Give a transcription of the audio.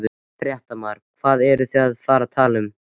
Fréttamaður: Hvað eruð þið að fara að tala um?